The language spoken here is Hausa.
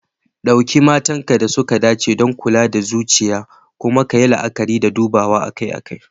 Ɗauki matakan da suka dace don kula da lafiyar zuciya, kuma kayi la'akari da dubawa akai-akai.